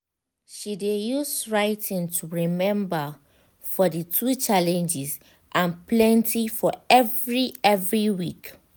she de use writing to remember for de two challenges and plenty for every every week.